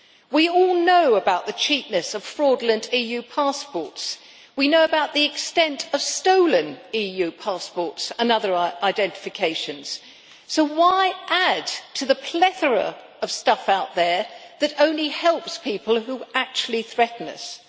We all know about the cheapness of fraudulent EU passports, we know about the extent of stolen EU passports and other identifications, so why add to the plethora of stuff out there that only helps people who actually threaten us?